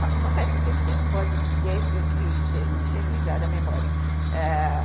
Na passagem do tempo, você não pode dizer que não seja ligado à memória.